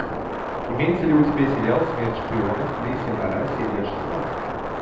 имеется ли у тебя сериал смерть шпионам лисья нора серия шестнадцать